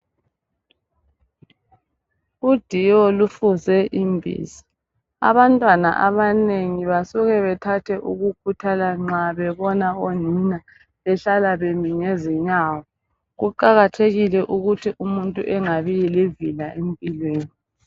Udiwo lufuze imbiza. Abantwana abanengi basuke bethathe ukukhuthala nxa bebona onina behlala bemi ngezinyawo. Kuqakathekile ukuthi umuntu engabi livila empilweni.